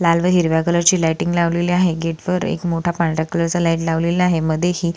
लाल व हिरव्या कलर ची लाईटिंग लावलेली आहे गेट वर एक मोठा पांढऱ्या कलर चा लाईट लावलेला आहे मध्ये हि--